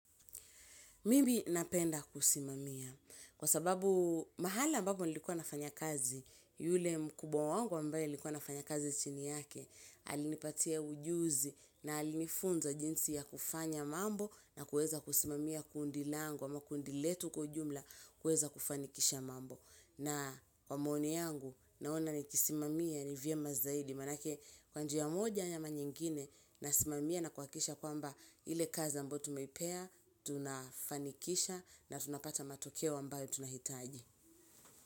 Mimi napenda kusimamia kwa sababu mahala ambapo nilikuwa nafanya kazi yule mkubwa wangu ambaye nilikuwa nafanya kazi chini yake alinipatia ujuzi na alinifunza jinsi ya kufanya mambo na kuweza kusimamia kundi langu ama kundi letu kwa ujumla kuweza kufanikisha mambo. Na kwa maoni yangu naona ukisimamia ni vyema zaidi. Manake kwa njia moja ama nyingine nasimamia na kuwakikisha kwamba ile kazi ambayo tumeipea, tunafanikisha na tunapata matokeo ambayo tunahitaji.